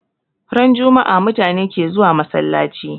Ran jummaa mutane ke zuwa masallachi